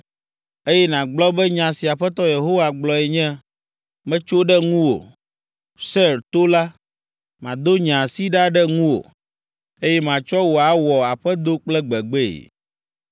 eye nàgblɔ be nya si Aƒetɔ Yehowa gblɔe nye, ‘Metso ɖe ŋuwò, Seir to la, mado nye asi ɖa ɖe ŋuwò, eye matsɔ wò awɔ aƒedo kple gbegbee.